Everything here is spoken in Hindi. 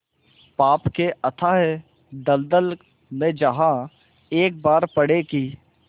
पाप के अथाह दलदल में जहाँ एक बार पड़े कि